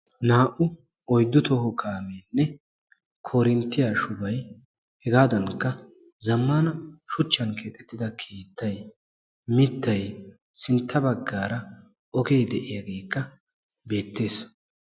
naa''u oyddu toho kaamiyan koronttiyaa shubay hegadankka zammana shuchchan keexxetida keettay mittay sintta baggaara ogee de'iyaageekka beettees.